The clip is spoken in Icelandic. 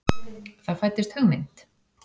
Það fæddist hugmynd.